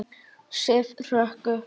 Sif hrökk upp.